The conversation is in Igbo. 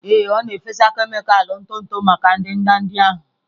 Ee, ọ na-efesa kemịkalụ ntụ ntụ maka ndanda ndị ahụ.